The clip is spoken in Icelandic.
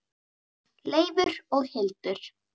Leifur og Hildur.